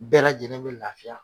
Bɛɛ lajɛlen be lafiya